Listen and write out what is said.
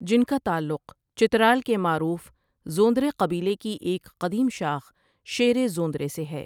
جنکا تعلق چترال کے معروف زوندرے قبیلے کی ایک قدیم شاخ شیرے زوندرے سے ہے ۔